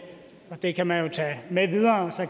og det kan man jo